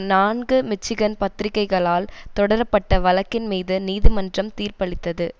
நான்கு மிச்சிகன் பத்திரிகைகளால் தொடரப்பட்ட வழக்கின் மீது நீதிமன்றம் தீர்ப்பளித்தது